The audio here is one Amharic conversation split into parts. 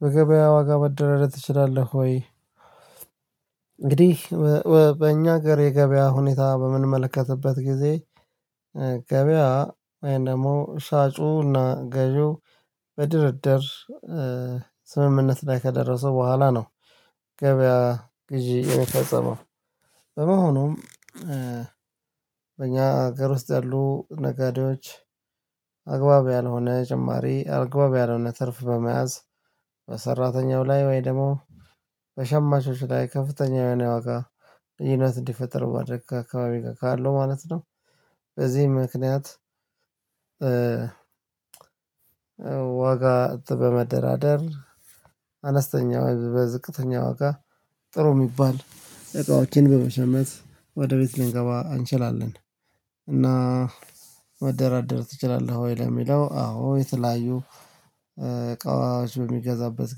በገበያ ዋጋ መደራደር ትችላለህ ወይ? እንግዲህ በእኛ ሀገር የገበያ ሁኔታ በምንመለከትበት ጊዜ ገበያ ወይም ደግሞ ሻጩና ገዢው በድርድር ስምምነት ላይ ከደረሰው በኋላ ነው። ገበያ ግዢ የሚፈጸመው በመሆኑም በእኛ ሀገር ውስጥ ያሉ ነገዴዎች አግባብ ያልሆነ ጭማሪ አግባብ ያልሆነ ትርፍ በመያዝ ላይ ወይ ደግሞ በሸማቾች ላይ ከፍተኛ የሆነ የዋጋ ልዩነት እንዲፈጠር በማድረግ ከአካባቢ ካለው ማለት ነው። በዚህ ምክንያት ዋጋ በመደራደር አነስተኛ በዝቅተኛ ዋጋ ጥሩ የሚባል እቃዎችን በመሸመት ወደ ቤት ልንገባ አንችላለን። እና መደራደር ትችላለህ? ወይ ለሚለው አዎ የተለያዩ እቃዎች በምገዛበት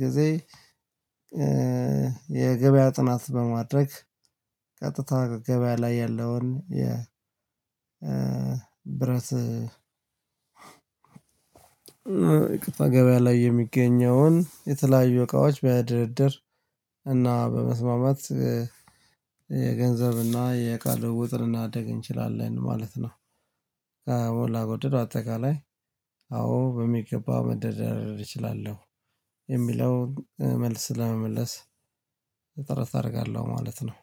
ጊዜ የገበያ ጥናት በማድረግ ቀጥታ ገበያ ላይ ያለውን የብረት ገበያ ላይ የሚገኘውን የተለያዩ እቃዎች በድርድር እና በመስማማት የገንዘብና የቃል ልውውጥ ልናደርግ እንችላለን ማለት ነው። አዎ በአጠቃላይ አዎ በሚገባ መደራደር እችላለሁ የሚለውን መልስ ለመመለስ ጥረት አደርጋለሁ ማለት ነው